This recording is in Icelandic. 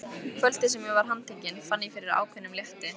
Kvöldið sem ég var handtekinn fann ég fyrir ákveðnum létti.